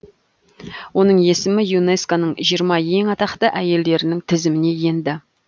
оның есімі юнеско ның жиырма ең атақты әйелдерінің тізіміне енді